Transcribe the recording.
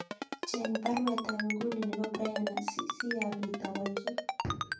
Cheng baruet ab inguni nebo Brian sii apit awolchi